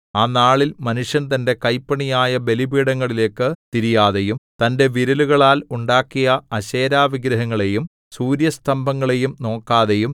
ആ നാളിൽ മനുഷ്യൻ തന്റെ കൈപ്പണിയായ ബലിപീഠങ്ങളിലേക്കു തിരിയാതെയും തന്റെ വിരലുകളാൽ ഉണ്ടാക്കിയ അശേരാവിഗ്രഹങ്ങളെയും സൂര്യസ്തംഭങ്ങളെയും നോക്കാതെയും